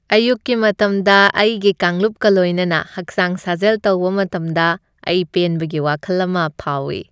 ꯑꯌꯨꯛꯀꯤ ꯃꯇꯝꯗ ꯑꯩꯒꯤ ꯀꯥꯡꯂꯨꯞꯀ ꯂꯣꯏꯅꯅ ꯍꯛꯆꯥꯡ ꯁꯥꯖꯦꯜ ꯇꯧꯕ ꯃꯇꯝꯗ ꯑꯩ ꯄꯦꯟꯕꯒꯤ ꯋꯥꯈꯜ ꯑꯃ ꯐꯥꯎꯏ꯫